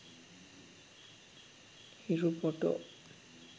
hiru photo